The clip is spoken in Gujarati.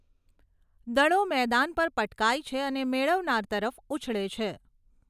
દડો મેદાન પર પટકાય છે અને મેળવનાર તરફ ઉછળે છે.